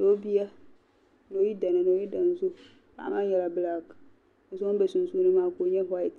Niobiya nioyidana ni oyimdani zo paɣi maa nyala balak, biso ŋun be sunsuuni maa kala nya white,